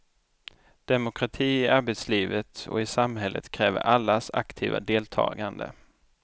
Demokrati i arbetslivet och i samhället kräver allas aktiva deltagande.